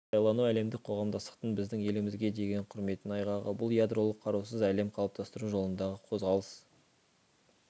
сайлану әлемдік қоғамдастықтың біздің елімізге деген құрметінің айғағы бұл ядролық қарусыз әлем қалыптастыру жолындағы қозғалыс